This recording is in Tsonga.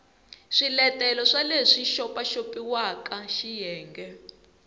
swiletelo swa leswi xopaxopiwaka xiyenge